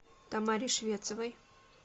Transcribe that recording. тамаре швецовой